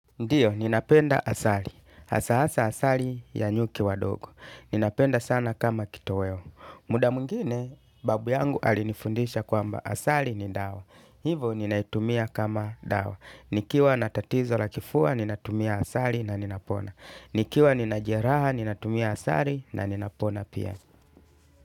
Ndiyo, ninapenda asali. Hasa hasa asali ya nyuki wadogo. Ninapenda sana kama kitoweo. Muda mwingine, babu yangu alinifundisha kwamba asali ni dawa. Hivo, ninaitumia kama dawa. Nikiwa na tatizo la kifua, ninatumia asali na ninapona. Nikiwa nina jeraha, ninatumia asali na ninapona pia.